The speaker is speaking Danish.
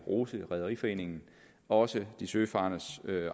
rose rederiforeningen også de søfarendes